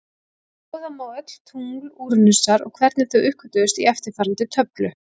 Skoða má öll tungl Úranusar og hvenær þau uppgötvuðust í eftirfarandi töflu: